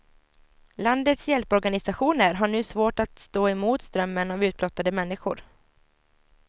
Landets hjälporganisationer har nu svårt att stå emot strömmen av utblottade människor.